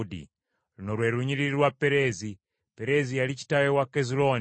Luno lwe lunyiriri lwa Pereezi: Pereezi yali kitaawe wa Kezulooni,